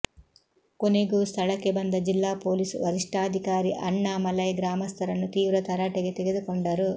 ಕೊನೆಗೂ ಸ್ಥಳಕ್ಕೆ ಬಂದ ಜಿಲ್ಲಾ ಪೊಲೀಸ್ ವರಿಷ್ಠಾಧಿಕಾರಿ ಅಣ್ಣಾಮಲೈ ಗ್ರಾಮಸ್ಥರನ್ನು ತೀವ್ರ ತರಾಟೆಗೆ ತೆಗೆದುಕೊಂಡರು